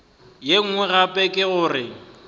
ye nngwe gape ke gore